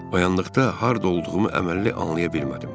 Oyandıqda harda olduğumu əməlli anlaya bilmədim.